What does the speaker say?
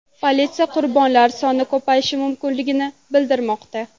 Politsiya qurbonlar soni ko‘payishi mumkinligini bildirmoqda.